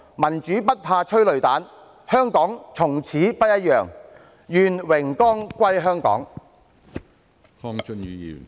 民主不怕催淚彈，香港從此不一樣，願榮光歸香港。